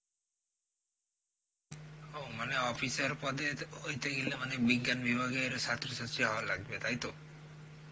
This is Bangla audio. ও মানে officer পদে হইতে গেলে, মানে বিজ্ঞান বিভাগের স্বাস্থ্য সাথী হওয়া লাগবে তাই তো